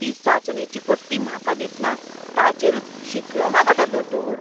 ती चांचणेची पट्टी म्हाका दितना ताचेरूच शिंकलो मुगो तो दोतोर!